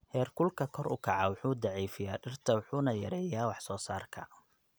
Heerkulka kor u kaca wuxuu daciifiyaa dhirta wuxuuna yareeyaa wax soo saarka.